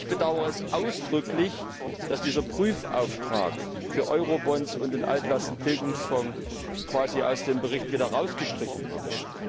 Ich bedauere es ausdrücklich, dass dieser Prüfauftrag für Eurobonds und den Altlastentilgungsfonds quasi aus dem Bericht wieder rausgestrichen wurde.